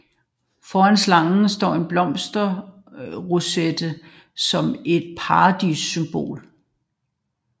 Foran slangen står en blomsterroset som et Paradissymbol